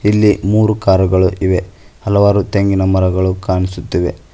ಇಲ್ಲಿ ಮೂರು ಕಾರುಗಳು ಇವೆ ಹಲವಾರು ತೆಂಗಿನ ಮರಗಳು ಕಾಣಿಸುತ್ತ ಇವೆ.